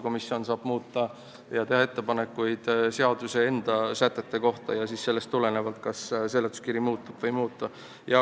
Komisjon saab teha ettepanekuid seaduse enda sätete kohta ja siis sellest tulenevalt seletuskiri kas muutub või ei muutu.